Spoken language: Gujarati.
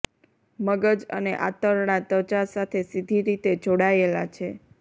મગજ અને આંતરડા ત્વચા સાથે સીધી રીતે જોડાયેલા છે